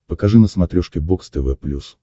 покажи на смотрешке бокс тв плюс